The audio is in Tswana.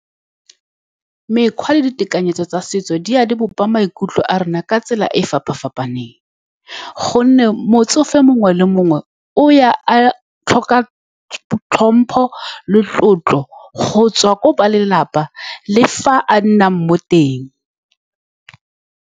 Mekgwa le ditekanyetso tsa setso di a di bopa maikutlo a rona ka tsela e e fapa-fapaneng, ka gonne motsofe mongwe le mongwe o ya a tlhoka tlhompho le tlotlo go tswa ko ba lelapa le fa a nnang mo teng.